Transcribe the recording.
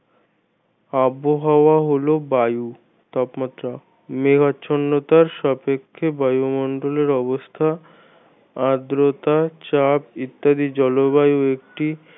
আবহাওয়া হল বায়ু তাপমাত্রা মেঘাচ্ছন্ন সাপেক্ষে বায়ুমন্ডলের অবস্থা আদ্রতা চাপ ইত্যাদি জলবায়ু একটি